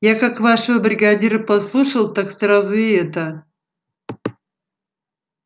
я как вашего бригадира послушал так сразу и это